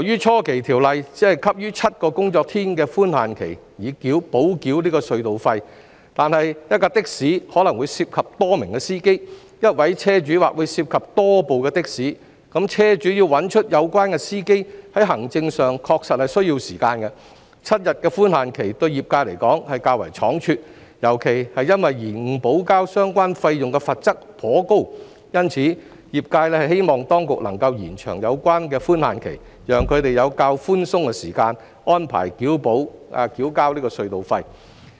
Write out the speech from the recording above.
初期，《條例草案》只給予7個營業日的寬限期以補繳隧道費，但一輛的士可能會涉及多名司機，一位車主或會涉及多部的士，車主要找出有關司機，在行政上確實需時 ，7 天的寬限期對業界而言是較為倉卒，尤其是因延誤補交相關費用的罰則頗高，因此，業界希望當局能夠延長有關寬限期，讓他們有較寬鬆的時間安排補繳隧道費。